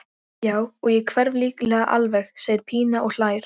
Já, og ég hverf líklega alveg, segir Pína og hlær.